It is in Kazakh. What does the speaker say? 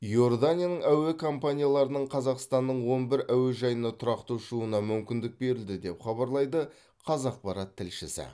иорданияның әуе компанияларының қазақстанның он бір әуежайына тұрақты ұшуына мүмкіндік берілді деп хабарлайды қазақпарат тілшісі